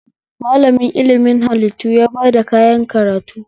Malamin ilimin hallitu ya bada kayan karayu